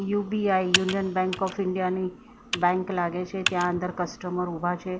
UBI Union Bank of India ની bank લાગે છે ત્યાં અંદર કસ્ટમર ઉભા છે એ--